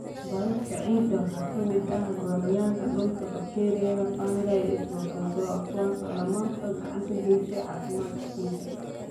Biota ciidda waxaa ka mid ah Gooryaanka dhulka, bakteeriyada, fungi, iyo protozoa, kuwaas oo dhamaantood gacan ka geysta caafimaadka ciidda.